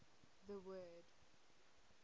the word